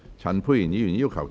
陳沛然議員反對。